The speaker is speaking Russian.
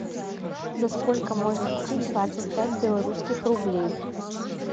за сколько можно купить двадцать пять белорусских рублей